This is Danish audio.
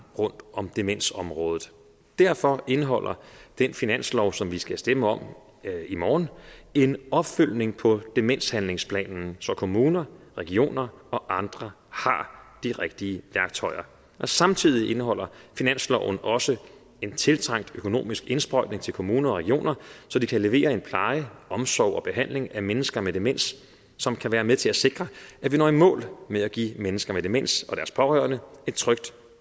rundt om demensområdet derfor indeholder den finanslov som vi skal stemme om i morgen en opfølgning på demenshandlingsplanen så kommunerne regionerne og andre har de rigtige værktøjer samtidig indeholder finansloven også en tiltrængt økonomisk indsprøjtning til kommunerne og regionerne så de kan levere en pleje omsorg og behandling af mennesker med demens som kan være med til at sikre at vi når i mål med at give mennesker med demens og deres pårørende et trygt